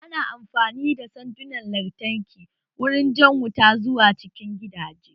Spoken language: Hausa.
Ana amfani da sandunan lantarki wurin jan wuta zuwa cikin gidaje